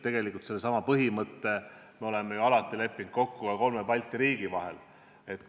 Tegelikult on seesama põhimõte ju kokku lepitud ka kolme Balti riigi vahel.